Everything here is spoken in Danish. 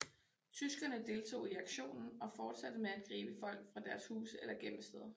Tyskerne deltog i aktionen og fortsatte med at gribe folk fra deres huse eller gemmesteder